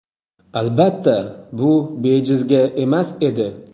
Albatta, bu bejizga emas edi.